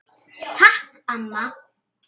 Takk amma.